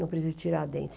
Não preciso tirar dente.